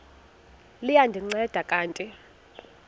liya ndinceda kanti